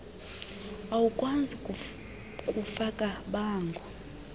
awukwazi kufaka bango